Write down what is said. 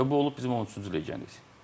Və bu olub bizim 13-cü legioner.